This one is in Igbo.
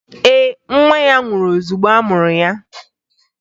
Ee, nwa ya nwụrụ ozugbo a mụrụ ya